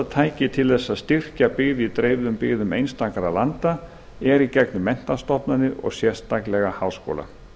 tæki til þess að styrkja byggð í dreifðum byggðum einstakra landa er í gegnum menntastofnanir og sérstaklega háskóla